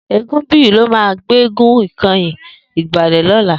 Egunbiyi ló mà gbégún kẹ̀yín igbálẹ̀ lọ̀lá